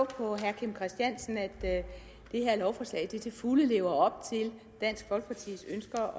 på herre kim christiansen at det her lovforslag til fulde lever op til dansk folkepartis ønsker